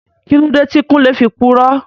Kíló dé tí Kúnlé fi purọ́?